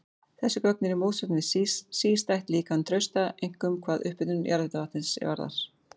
Þessi gögn eru í mótsögn við sístætt líkan Trausta, einkum hvað upphitun jarðhitavatnsins varðar.